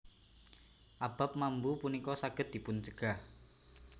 Abab mambu punika saged dipuncegah